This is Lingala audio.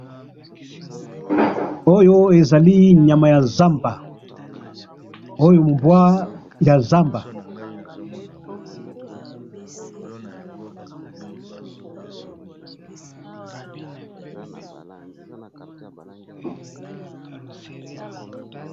Oyo ezali nyama ya zamba, oyo mbwa ya zamba